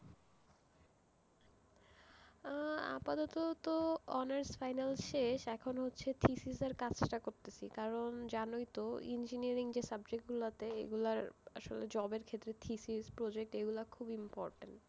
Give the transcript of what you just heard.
আহ আপাতত তো honours final শেষ, এখন হচ্ছে thesis এর কাজ টা করতেসি, কারণ, জানই তো, engineering যে subject গুলো তে, ওগুলার আসলে job এর ক্ষেত্রে thesis, project এগুলা খুব important,